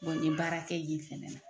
nin baara kɛ ye fɛnɛ na